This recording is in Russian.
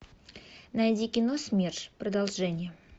найди кино смерш продолжение